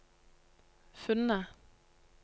funnet